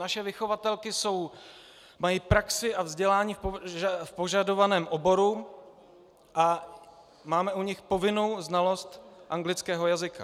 Naše vychovatelky mají praxi a vzdělání v požadovaném oboru a máme u nich povinnou znalost anglického jazyka.